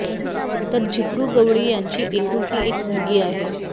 तर झिपरू गवळी यांची एकुलती एक मुलगी आहे